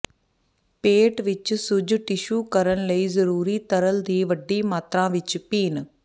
ਪੇਟ ਵਿਚ ਸੁੱਜ ਟਿਸ਼ੂ ਕਰਨ ਲਈ ਜ਼ਰੂਰੀ ਤਰਲ ਦੀ ਵੱਡੀ ਮਾਤਰਾ ਵਿੱਚ ਪੀਣ